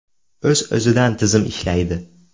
O‘z-o‘zidan tizim ishlaydi.